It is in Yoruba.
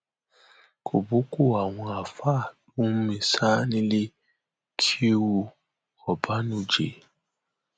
kọbọọkọ àwọn àáfàá ló mú mi sá nílé kéwu ọbànújẹ